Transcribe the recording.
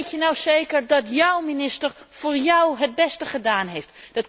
Hoe weet je nu zeker dat jouw minister voor jou het beste gedaan heeft?